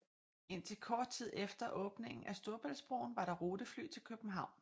Indtil kort tid efter åbningen af Storebæltsbroen var der rutefly til København